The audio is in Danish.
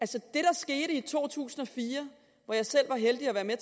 der skete i to tusind og fire hvor jeg selv var heldig at være med